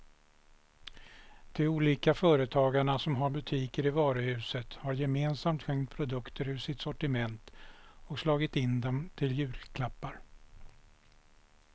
De olika företagarna som har butiker i varuhuset har gemensamt skänkt produkter ur sitt sortiment och slagit in dem till julklappar.